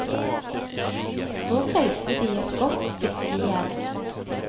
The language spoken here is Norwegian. Så seilte de et godt stykke igjen.